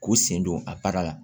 K'u sen don a baara la